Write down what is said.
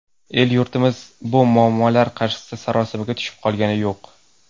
El-yurtimiz bu muammolar qarshisida sarosimaga tushib qolgani yo‘q.